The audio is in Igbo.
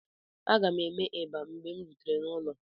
Aga m eme eba mgbe m rutere n'ụlọ.